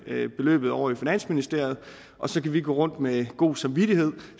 vi beløbet ovre i finansministeriet og så kan vi gå rundt med god samvittighed